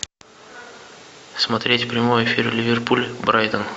смотреть прямой эфир ливерпуль брайтон